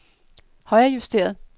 højrejusteret